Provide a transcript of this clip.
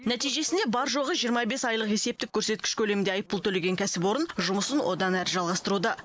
нәтижесінде бар жоғы жиырма бес айлық есептік көрсеткіш көлемінде айыппұл төлеген кәсіпорын жұмысын одан әрі жалғастыруда